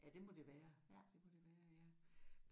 Ja det må det være det må det være ja